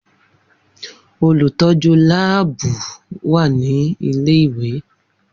Olutọju laabu wa ni ile-iwe